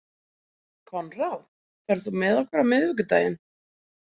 Koðrán, ferð þú með okkur á miðvikudaginn?